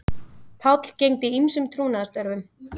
Páll gegndi ýmsum trúnaðarstörfum